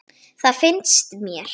Það finnst mér.